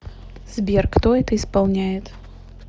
сбер кто это исполняет